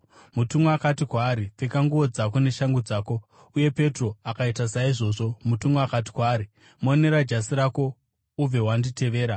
Mutumwa akati kwaari, “Pfeka nguo dzako neshangu dzako.” Uye Petro akaita saizvozvo. Mutumwa akati kwaari, “Monera jasi rako ubve wanditevera.”